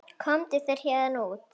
Komdu þér héðan út.